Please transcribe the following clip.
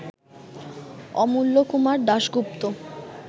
Amulya Kumar Dasgupta